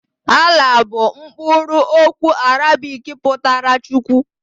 Allah bụ mkpụrụ okwu Arabik pụtara Chukwu.